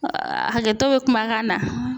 hakɛto bɛ kumakan na.